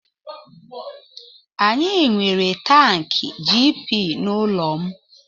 Anyị nwere tankị GP n'ụlọ m.